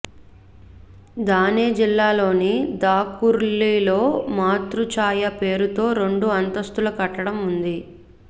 థానే జిల్లా లోని థాకూర్లి లో మాతృఛాయ పేరుతో రెండు అంతస్తుల కట్టడం ఉంది